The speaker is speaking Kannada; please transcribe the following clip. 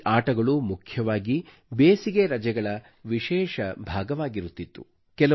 ಈ ಆಟಗಳು ಮುಖ್ಯವಾಗಿ ಬೇಸಿಗೆ ರಜೆಗಳ ವಿಶೇಷ ಭಾಗವಾಗಿರುತ್ತಿತ್ತು